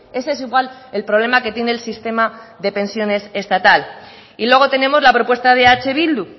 ese es igual el problema que tiene el sistema de pensiones estatal y luego tenemos la propuesta de eh bildu